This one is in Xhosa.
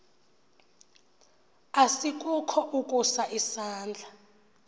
asikukho ukusa isandla